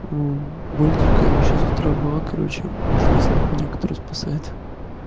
вот боль дикая вообще с утра была короче вот единственная хуйня которая короче спасает